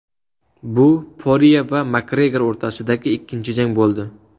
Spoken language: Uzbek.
Bu Porye va Makgregor o‘rtasidagi ikkinchi jang bo‘ldi.